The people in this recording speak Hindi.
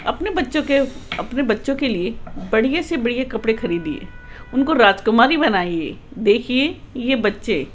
अपने बच्चों के अपने बच्चों के लिए बढ़िया से बढ़िया कपड़े खरीदिए उनको राजकुमारी बनाइए देखिए ये बच्चे --